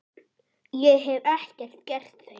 Ég hef ekkert gert þeim.